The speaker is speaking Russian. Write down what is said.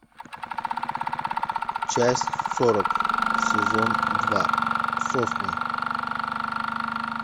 часть сорок сезон два сосны